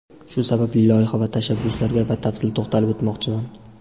Shu sababli loyiha va tashabbuslarga batafsil to‘xtalib o‘tmoqchiman.